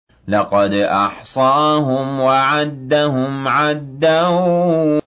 لَّقَدْ أَحْصَاهُمْ وَعَدَّهُمْ عَدًّا